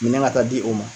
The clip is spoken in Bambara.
Minɛn ka taa di o ma